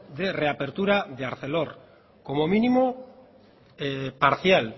de reapertura de arcelor como mínimo parcial